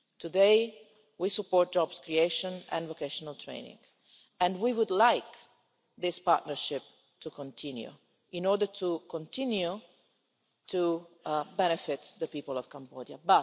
Today we support job creation and vocational training and we would like this partnership to continue, in order to continue to benefit the people of Cambodia.